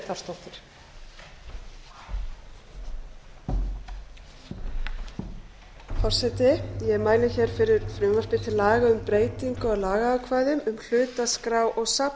klára ég forseti ég mæli hér fyrir frumvarpi til laga um breytingu á lagaákvæðum um hlutaskrá og